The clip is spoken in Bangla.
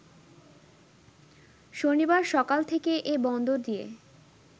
শনিবার সকাল থেকে এ বন্দর দিয়ে